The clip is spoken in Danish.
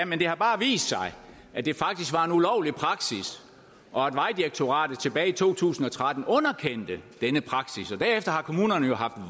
men det har bare vist sig at det faktisk var en ulovlig praksis og at vejdirektoratet tilbage i to tusind og tretten underkendte denne praksis derefter har kommunerne jo haft